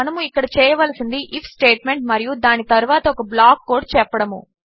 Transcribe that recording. మనము ఇక్కడ చేయవలసినది ఐఎఫ్ స్టేట్మెంట్ మరియు దాని తరువాత ఒక బ్లాక్ కోడ్ చెప్పడము